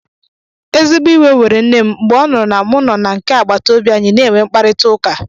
Ezigbo iwe were nne m mgbe ọ nụrụ na mụ nọ na nke agbataobi anyị na-enwe mkparịtaụka